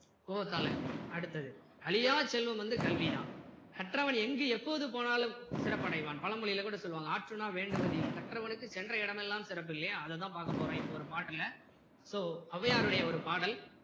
கோவத்தால அடுத்தது அழியா செல்வம் வந்து கல்வி தான் கற்றவன் எங்கு எப்போது போனாலும் சிறப்படைவான் பழமொழில கூட சொல்லுவாங்க ஆற்றுணா வேண்டுவதி இல் கற்றவனுக்கு சென்ற இடமெல்லாம் சிறப்பு இல்லையா அது தான் பார்க்க போறோம் இப்போ ஒரு பாட்டுல so ஔவையார் உடயை ஒரு பாடல்